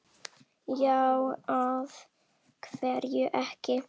Já, af hverju ekki?